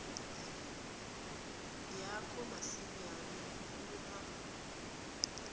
yakho masinyane uma